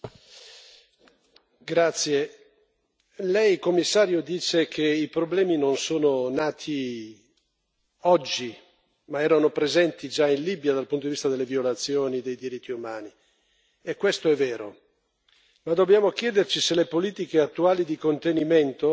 Signora Presidente, onorevoli colleghi, Lei Commissario dice che i problemi non sono nati oggi, ma erano presenti già in Libia dal punto di vista delle violazioni dei diritti umani, e questo è vero. Ma dobbiamo chiederci se le politiche attuali di contenimento